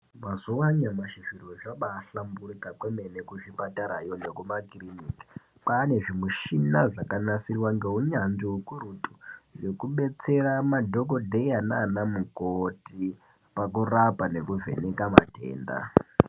Mazuva anyamashi zviro zvabaahlamburika kwemene kuzvipatarayo nekumakiriniki. Kwaane zvimishina zvakanasirwa ngeunyanzvi hukurutu zvekudetsera madhogodheya nanamukoti pakurapa nekuvheneka matenda.